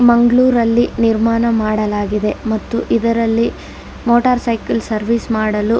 ಮಂಗ್ಳುರ್ ಅಲ್ಲಿ ನಿರ್ಮಾಣ ಮಾಡಲಾಗಿದೆ ಮತ್ತು ಇದರಲ್ಲಿ ಮೋಟಾರ್ ಸೈಕಲ್ ಸರ್ವಿಸ್ ಮಾಡಲು --